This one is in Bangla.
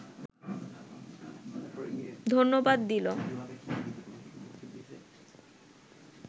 ধন্যবাদ দিল